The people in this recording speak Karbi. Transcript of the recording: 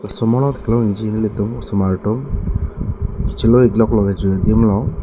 osomar ta theklong ikji nelitum osomar atum kechelo iklok lo kejui adim long.